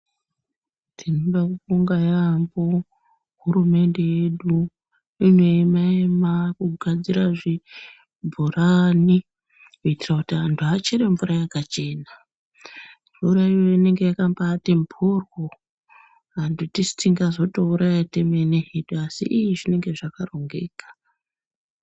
Tinoda kubonga yampho hurumende yedu inoema ema kugadzira kwezvibhoranai kuitira kuti vantu vachere mvura yakachena . Mvura iyoyo inenge yakambaati mbworyo vantu tisu tingazotouraya temene hedu asi i-ii zvinenge zvakarongeka.